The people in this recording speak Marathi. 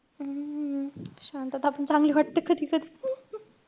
हम्म शांतता पण चांगली वाटते कधी-कधी.